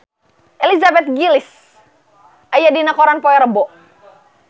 Elizabeth Gillies aya dina koran poe Rebo